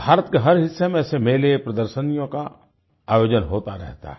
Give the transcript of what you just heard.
भारत के हर हिस्से में ऐसे मेले प्रदर्शिनियों का आयोजन होता रहता है